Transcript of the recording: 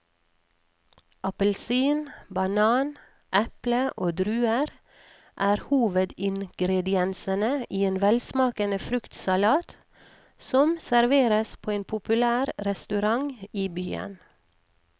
Appelsin, banan, eple og druer er hovedingredienser i en velsmakende fruktsalat som serveres på en populær restaurant i byen.